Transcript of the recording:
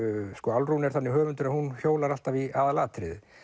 Álfrún er þannig höfundur að hún hjólar alltaf í aðalatriðið